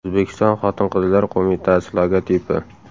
O‘zbekiston xotin-qizlar qo‘mitasi logotipi.